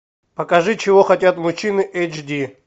покажи чего хотят мужчины эйч ди